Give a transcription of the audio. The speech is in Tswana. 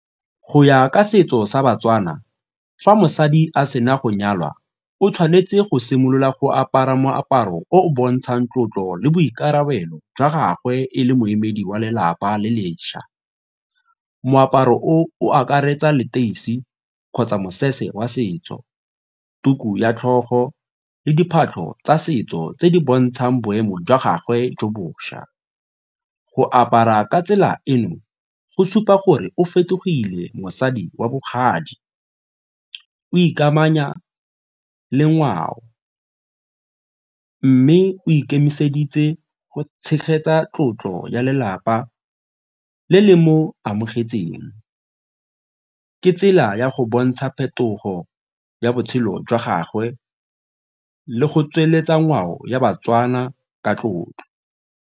Go ya ka setso sa baTswana, fa mosadi a sena go nyalwa o tshwanetse go simolola go apara moaparo o o bontshang tlotlo le boikarabelo jwa gagwe e le moemedi wa lelapa le lešwa. Moaparo o o akaretsa leteisi kgotsa mosese wa setso, tuku ya tlhogo le diphatlo tsa setso tse di bontshang boemo jwa gagwe jo bošwa. Go apara ka tsela eno, go supa gore o fetogile mosadi wa bogadi, o ikamanya le ngwao mme o ikemiseditse go tshegetsa tlotlo ya lelapa le le mo amogetseng. Ke tsela ya go bontsha phetogo ya botshelo jwa gagwe le go tsweletsa ngwao ya baTswana ka tlotlo.